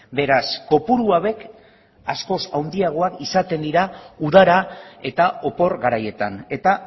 beraz kopuru hauek askoz handiagoak izaten dira udara eta opor garaietan eta